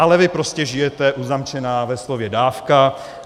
Ale vy prostě žijete uzamčená ve slově dávka.